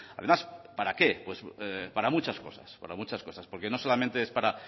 además para qué para muchas cosas para muchas cosas porque no solamente es para